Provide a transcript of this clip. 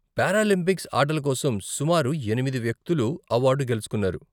Paralympics ఆటల కోసం సుమారు ఎనిమిది వ్యక్తులు అవార్డు గెలుచుకున్నారు.